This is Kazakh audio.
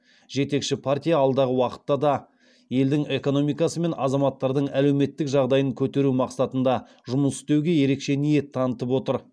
жетекші партия алдағы уақытта да елдің экономикасы мен азаматтардың әлеуметтік жағдайын көтеру мақсатында жұмыс істеуге ерекше ниет танытып отыр